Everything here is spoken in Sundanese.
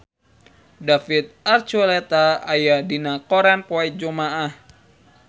David Archuletta aya dina koran poe Jumaah